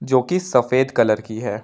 जोकि सफेद कलर की है।